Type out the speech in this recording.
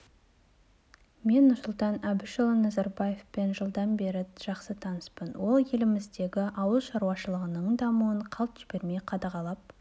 мен нұрсұлтан әбішұлы назарбаевпен жылдан бері жақсы таныспын ол еліміздегі ауыл шаруашылығының дамуын қалт жібермей қадағалап